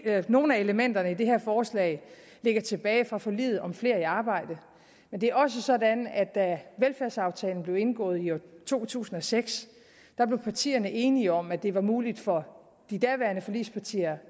at nogle af elementerne i det her forslag ligger tilbage fra forliget om flere i arbejde men det er også sådan at da velfærdsaftalen blev indgået i to tusind og seks blev partierne enige om at det var muligt for de daværende forligspartier